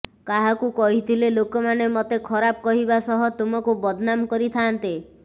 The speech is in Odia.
କାହାକୁ କହିଥିଲେ ଲୋକମାନେ ମୋତେ ଖରାପ କହିବା ସହ ତୁମକୁ ବଦ୍ନାମ କରିଥାନ୍ତେ